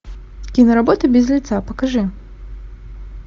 киноработа без лица покажи